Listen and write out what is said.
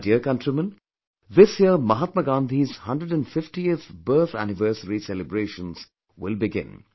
My dear countrymen, this year Mahatma Gandhi's 150th birth anniversary celebrations will begin